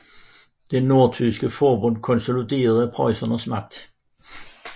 Det nordtyske forbund konsoliderede Preussens magt